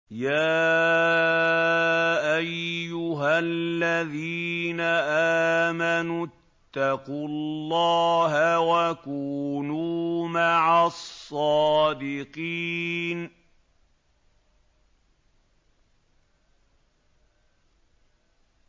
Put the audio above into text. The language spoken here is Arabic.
يَا أَيُّهَا الَّذِينَ آمَنُوا اتَّقُوا اللَّهَ وَكُونُوا مَعَ الصَّادِقِينَ